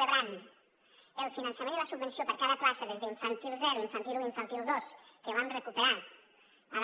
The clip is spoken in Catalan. rebran el finançament i la subvenció per a cada plaça des d’infantil zero infantil un infantil dos que vam recuperar